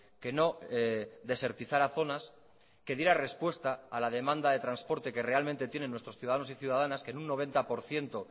que no desertizara zonas que diera respuesta a la demanda de transporte que realmente tienen nuestros ciudadanos y ciudadanas que en un noventa por ciento